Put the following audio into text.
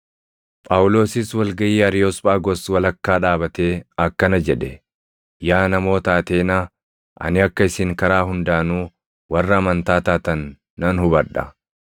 Phaawulosis wal gaʼii Ariyoosphaagos walakkaa dhaabatee akkana jedhe; “Yaa namoota Ateenaa! Ani akka isin karaa hundaanuu warra amantaa taatan nan hubadha.